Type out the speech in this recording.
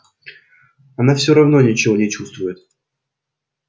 она все равно ничего не чувствует